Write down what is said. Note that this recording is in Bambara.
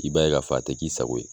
I b'a ye k'a fɔ, a tɛ k'i sago ye.